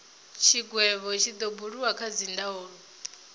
tshigwevho tshi do buliwa kha dzindaulo